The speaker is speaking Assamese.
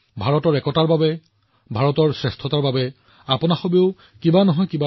ভাৰতৰ ঐক্যৰ বাবে ভাৰতৰ শ্ৰেষ্ঠতাৰ বাবেও আপুনিও কিবা কৰিব পাৰে